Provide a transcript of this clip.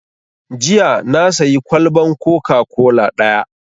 Jiya na sayi kwalban coca-cola ɗaya